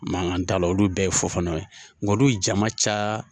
Makan t'a la, olu bɛɛ ye fofanaw ye. Nga olu ye jama ca